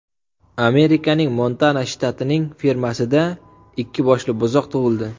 Amerikaning Montana shtatining fermasida ikki boshli buzoq tug‘ildi.